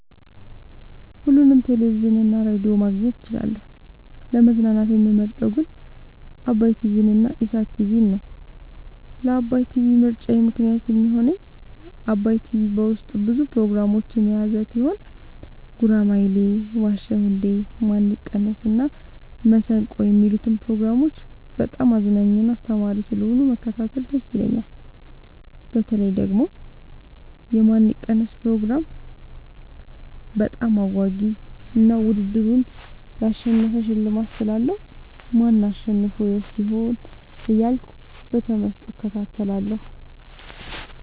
ሁሉንም ቴሌቪዥን እና ሬዲዮ ማግኘት እችላለሁ: : ለመዝናናት የምመርጠዉ ግን ዓባይ ቲቪንና ኢሣት ቲቪን ነዉ። ለዓባይ ቲቪ ምርጫየ ምክንያት የሚሆነኝ ዓባይ ቲቪ በዉስጡ ብዙ ፕሮግራሞችን የያዘ ቲሆን ጉራማይሌ የዋ ዉ እንዴ ማን ይቀነስ እና መሠንቆ የሚሉትን ፕሮግራሞች በጣም አዝናኝና አስተማሪ ስለሆኑ መከታተል ደስ ይለኛል። በተለይ ደግሞ የማን ይቀነስ ፕሮግራም በጣም አጓጊ እና ዉድድሩን ላሸነፈ ሽልማት ስላለዉ ማን አሸንፎ ይወስድ ይሆን እያልኩ በተመስጦ እከታተላለሁ።